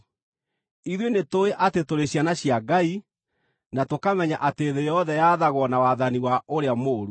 Ithuĩ nĩtũũĩ atĩ tũrĩ ciana cia Ngai, na tũkamenya atĩ thĩ yothe yathagwo na wathani wa ũrĩa mũũru.